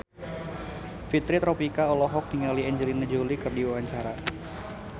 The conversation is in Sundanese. Fitri Tropika olohok ningali Angelina Jolie keur diwawancara